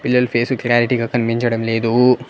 పిల్లల ఫేస్ లు క్లారిటీ గా కనిపించడం లేదు.